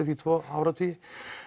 því tvo áratugi